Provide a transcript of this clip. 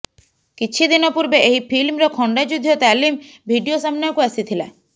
କିଛି ଦିନ ପୂର୍ବେ ଏହି ଫିଲ୍ମର ଖଣ୍ଡାଯୁଦ୍ଧ ତାଲିମ ଭିଡିଓ ସାମନାକୁ ଆସିଥିଲା